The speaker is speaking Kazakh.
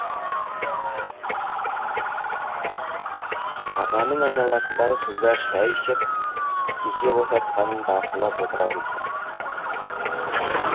ағаның айналасындағы қыздар шәй ішіп кесе босатқанын бақылап отырады екен